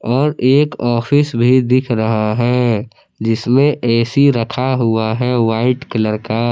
और एक ऑफिस भी दिख रहा है जिसमें ए_सी रखा हुआ है वाइट कलर का।